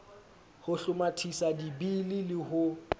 ho hlomathisa dibili le ho